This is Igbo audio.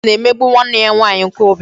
Kate na-emegbu nwanne ya nwaanyị nke obere